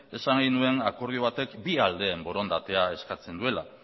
esan nahi nuen akordio batek bi aldeen borondatea eskatzen duela